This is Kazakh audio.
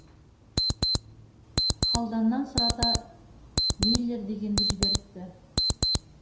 халданнан сұрата миллер дегенді жіберіпті